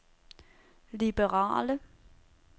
liberale